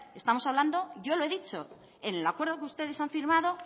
estamos hablando yo lo he dicho en el acuerdo que ustedes han firmado